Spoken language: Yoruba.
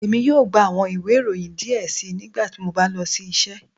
Emi yoo gba awọn iwe iroyin diẹ sii nigbati mo ba lọ si iṣẹ